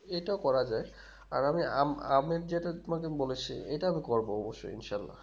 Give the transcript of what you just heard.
এটাও করা যাই আর আমি আম আমের যেটা তোমাকে আমি বলেছি ইটা আমি করবো অবশ্যই ইনশাল্লাহ